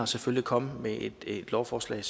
selvfølgelig komme med et lovforslag